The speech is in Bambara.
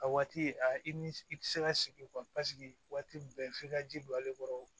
A waati a i ni i tɛ se ka sigi paseke waati bɛɛ f'i ka ji don ale kɔrɔ